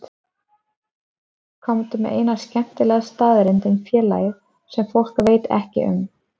Komdu með eina skemmtilega staðreynd um félagið sem fólk veit ekki um?